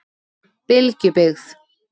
Bylgjubyggð